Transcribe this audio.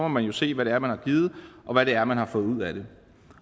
man se hvad det er man har givet og hvad det er man har fået ud af det